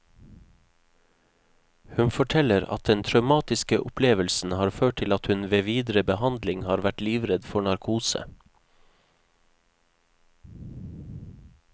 Hun forteller at den traumatiske opplevelsen har ført til at hun ved videre behandling har vært livredd for narkose.